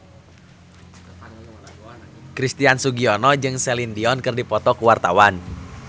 Christian Sugiono jeung Celine Dion keur dipoto ku wartawan